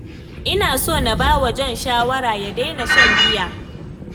Ina so na ba wa John shawarar ya daina shan giya.